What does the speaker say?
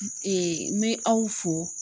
n bɛ aw fo